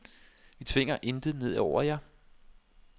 Vi tvinger intet ned over jer.